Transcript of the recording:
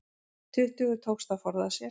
Tuttugu tókst að forða sér